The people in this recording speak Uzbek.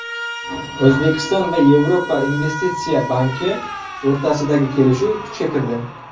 O‘zbekiston va Yevropa investitsiya banki o‘rtasidagi kelishuv kuchga kirdi.